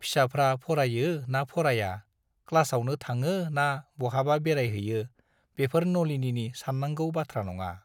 फिसाफ्रा फरायो ना फराया, क्लासआवनो थाङो ना बहाबा बेरायहैयो- बेफोर नलिनीनि सान्नांगौ बाथ्रा नङा।